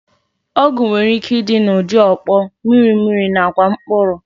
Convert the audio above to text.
Ọgwụ nwereike ịdị n'ụdị ọkpọ, mmiri mmiri nakwa mkpụrụ